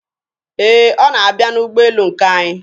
Ee, ọ na-abịa n'ụgbọelu nke anyị.